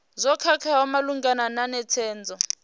zwo khakheaho malugana na netshedzo